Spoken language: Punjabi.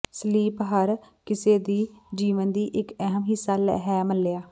ਸਲੀਪ ਹਰ ਕਿਸੇ ਦੇ ਜੀਵਨ ਦੀ ਇੱਕ ਅਹਿਮ ਹਿੱਸਾ ਹੈ ਮੱਲਿਆ